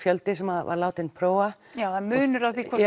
fjöldi sem var látinn prófa það er munur á því hvort